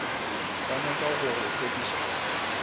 ba nyaka go go hlokiša